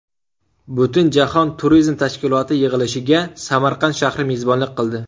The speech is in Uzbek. Butunjahon turizm tashkiloti yig‘ilishiga Samarqand shahri mezbonlik qildi.